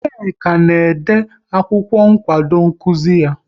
Nneka na-ede akwụkwọ nkwado nkuzi ya